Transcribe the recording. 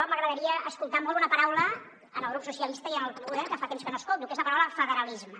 m’agradaria escoltar molt una paraula en el grup socialistes i en el grup en comú podem que fa temps que no escolto que és la paraula federalisme